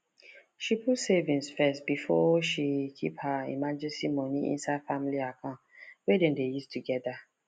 she put saving first before she keep her emergency money inside family account wey dem dey use together